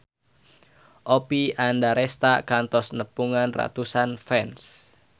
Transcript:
Oppie Andaresta kantos nepungan ratusan fans